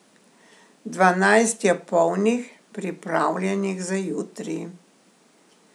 Dvanajst je polnih, pripravljenih za jutri.